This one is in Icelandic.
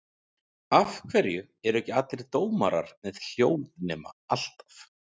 Af hverju eru ekki allir dómarar með hljóðnema alltaf?